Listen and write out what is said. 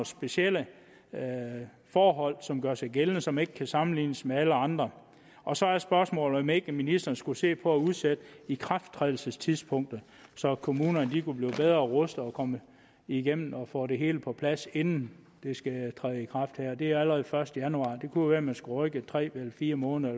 specielle forhold som gør sig gældende som ikke kan sammenlignes med alle andre og så er spørgsmålet om ikke ministeren skulle se på at udsætte ikrafttrædelsestidspunktet så kommunerne kunne blive bedre rustet og komme igennem med at få det hele på plads inden det skal træde i kraft det er allerede den første januar det kunne jo være man skulle rykke det tre eller fire måneder